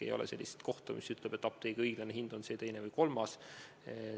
Ei ole sellist kohta seaduses, mis ütleb, et apteegi õiglane hind on see, teine või kolmas.